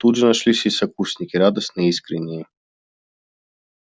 тут же нашлись и сокурсники радостные искренние